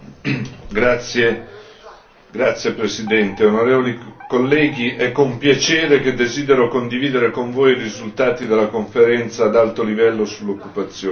Signor Presidente, onorevoli colleghi, è con piacere che desidero condividere con voi i risultati della Conferenza ad alto livello sull'occupazione.